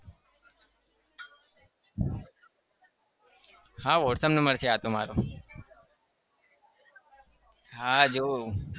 હા whatsapp number છે આતો મારો હા જોવું.